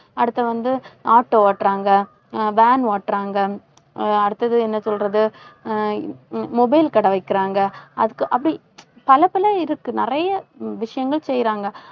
அடுத்து வந்து auto ஓட்டறாங்க. அஹ் van ஓட்டுறாங்க அஹ் அடுத்தது என்ன சொல்றது அஹ் mobile கடை வைக்கிறாங்க. அதுக்கு அப்படி பலப்பல இதுக்கு நிறைய விஷயங்கள் செய்றாங்க.